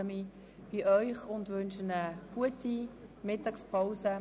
Ich bedanke mich bei Ihnen und wünsche Ihnen eine gute Mittagspause.